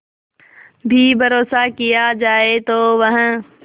भी भरोसा किया जाए तो वह